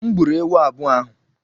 M gburu ewu abụọ ahụ.